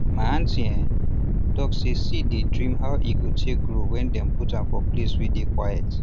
my aunty um talk say seed dey dream how e go take grow when dem put am for place wey dey quiet